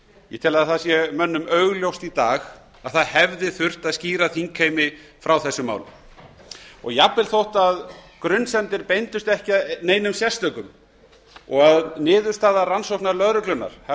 ég tel að það sé mönnum augljóst í dag að það hefði þurft að skýra þingheimi frá þessum málum og jafnvel þótt grunsemdir beindust ekki að neinum sérstökum og að niðurstaða rannsóknar lögreglunnar hafi